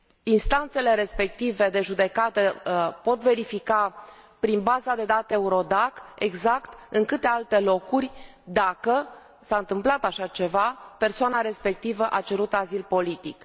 Instanțele respective de judecată pot verifica exact, prin baza de date EURODAC, în câte alte locuri, dacă s a întâmplat așa ceva, persoana respectivă a cerut azil politic.